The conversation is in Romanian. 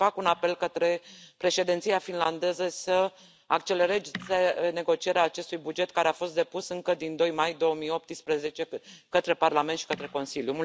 Fac un apel către Președinția finlandeză să accelereze negocierea acestui buget care a fost depus încă din 2 mai 2018 către Parlament și către Consiliu.